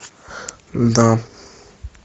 да